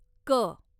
क